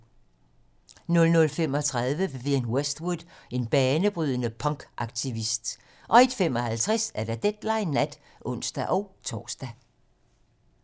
00:35: Vivienne Westwood - en banebrydende punkaktivist 01:55: Deadline nat (ons-tor)